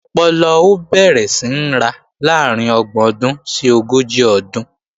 Ọpọlọ ó bẹ̀rẹ̀ sí ń ra láàrín ọgbọ̀n ọdún sí ogójì ọdún